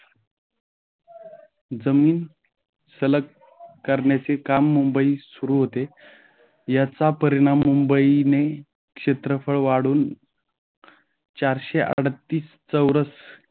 जमीन सलग करण्याचे काम मुंबईत सुरू होते. याच्या परिणाम मुंबईने क्षेत्रफळ वाढून चारशे अडतीस चौरस